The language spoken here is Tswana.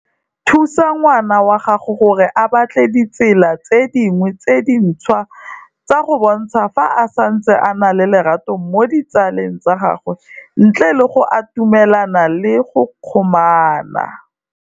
Thusa ngwana wa gago gore a batle ditsela tse dingwetse dintšhwa tsa go bontsha fa a santse a na le lerato mo ditsaleng tsa gagwe, ntle le gore ba atumelane le go kgomana.